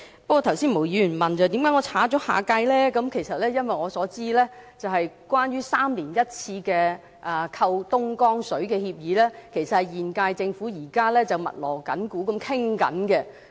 不過，毛議員剛才問，為甚麼我要刪去"下屆"，這是因為據我所知，關於3年1次購買東江水的協議，其實現屆政府現正密鑼緊鼓地商討。